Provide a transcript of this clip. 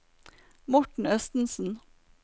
Morten Østensen